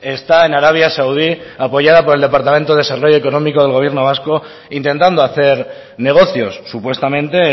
está en arabia saudí apoyada por el departamento de desarrollo económico del gobierno vasco intentando hacer negocios supuestamente